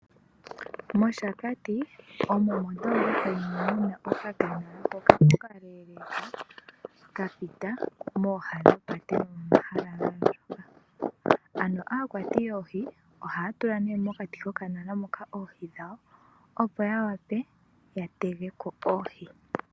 MOshakati omo mondolopa moka muna okakanala hoka okaleleka ka pita mooha dhopaye nomomahala ga andjuka. Ano aakwati yoohi ohaya tula nee mokati kokanala moka oohi dhawo, opo ya wape ya tegeko oohi.